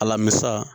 Alamisa